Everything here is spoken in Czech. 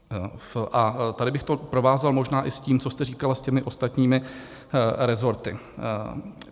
A tady bych to provázal možná i s tím, co jste říkala, s těmi ostatními resorty.